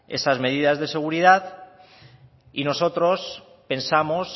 esas medidas de seguridad y nosotros pensamos